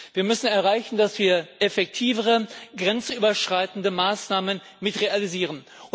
Wir müssen erreichen, dass wir auch effektivere grenzüberschreitende Maßnahmen realisieren.